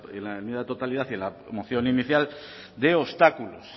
en la enmienda de totalidad y en la moción inicial de obstáculos